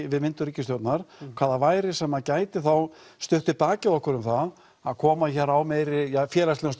við myndun ríkisstjórnar hvað það væri sem gæti þá stutt við bakið á okkur um það að koma hér á meiri félagslegum